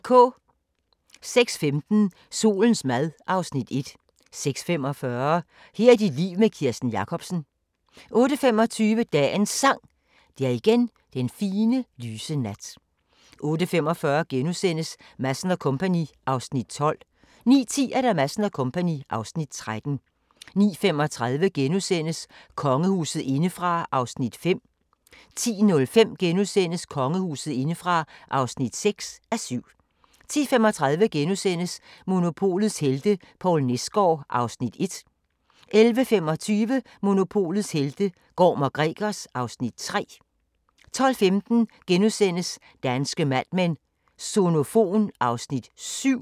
06:15: Solens mad (Afs. 1) 06:45: Her er dit liv med Kirsten Jakobsen 08:25: Dagens Sang: Det er igen den fine, lyse nat 08:45: Madsen & Co. (Afs. 12)* 09:10: Madsen & Co. (Afs. 13) 09:35: Kongehuset indefra (5:7)* 10:05: Kongehuset indefra (6:7)* 10:35: Monopolets helte - Poul Nesgaard (Afs. 1)* 11:25: Monopolets helte - Gorm & Gregers (Afs. 3) 12:15: Danske Mad Men: Sonofon (Afs. 7)*